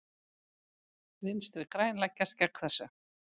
Vinstri græn leggjast gegn þessu.